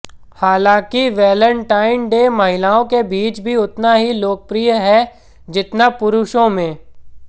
हालांकि Valentine day महिलाओं के बीच भी उतना ही लोकप्रिय है जितना पुरुषों में